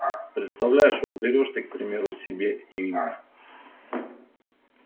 представляешь вот берёшь ты к примеру себе имя